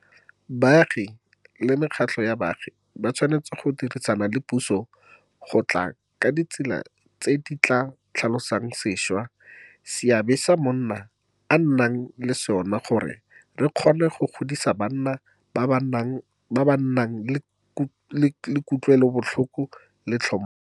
Baagi le mekgatlho ya baagi ba tshwanetse go dirisana le puso go tla ka ditsela tse di tla tlhalosang sešwa seabe se monna a nang le sona gore re kgone go godisa banna ba ba nang le kutlwelobotlhoko le tlhompho.